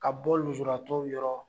Ka bɔ lujuratɔw yɔrɔ